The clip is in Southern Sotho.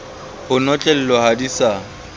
ho notlellwa ha di sa